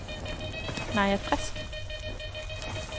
Naja Frisk